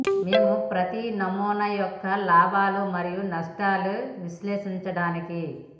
మేము ప్రతి నమూనా యొక్క లాభాలు మరియు నష్టాలు విశ్లేషించడానికి